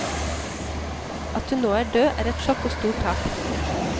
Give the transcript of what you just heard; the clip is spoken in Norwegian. At hun nå er død, er et sjokk og stort tap.